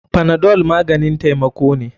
Panadol maganin taimako ne.